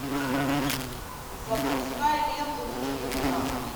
запускай ленту в стиле драма